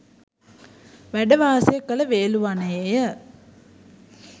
වැඩවාසය කළ වේළුවනයේ ය